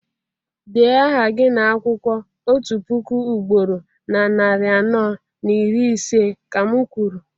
dee aha gị n'akwụkwọ otu puku ugboro na narị anọ na iri ise, ka m kwuru!